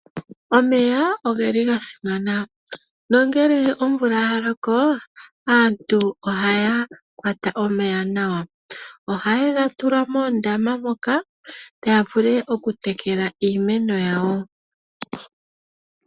Omeya oge li ga simana nongele omvula ya loko aantu ohaya kwata omeya nawa. Ohaye ga tula moondama moka ya vule okutekela iimeno yawo.